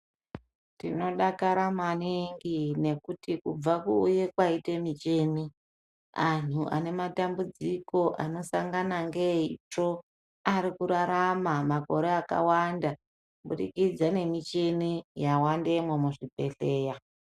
Tinodakara maningi nekuti kubve kuuya kwaite michini anhu anematambudziko anosangane neitsvo arikurarama makore akawanda kubudikidza ngemichini yawandemwo muzvibhehleya.